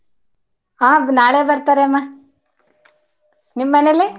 ಹ ನಾಳೆ ಬರ್ತಾರೆ ಅಮ್ಮ. ನಿಮ್ಮನೇಲಿ?